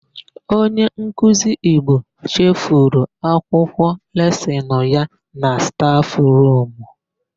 Onyenkuzi Igbo chefuru akwụkwọ lesịnụ ya na stafụrumu.